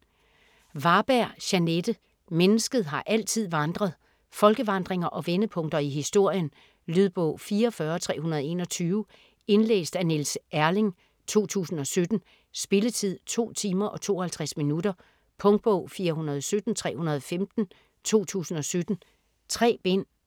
Varberg, Jeanette: Mennesket har altid vandret Folkevandringer og vendepunkter i historien. Lydbog 44321 Indlæst af Niels Erling, 2017. Spilletid: 2 timer, 52 minutter. Punktbog 417315 2017. 3 bind.